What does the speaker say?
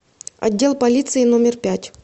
отдел полиции номер пять